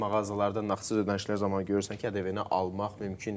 Bəzi mağazalarda nağdsız ödənişlər zamanı görürsən ki, ƏDV-ni almaq mümkün deyil.